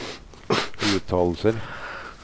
uttalelser